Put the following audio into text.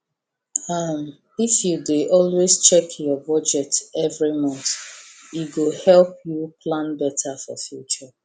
um if you dey always check your budget every month e go help you plan better for future